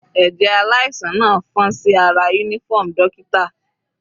Ẹ̀jẹ̀ aláìsàn náà fọ́n sí ara uniform dókítà.